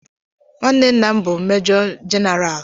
Nwanne nna m bú mejọ jenaraal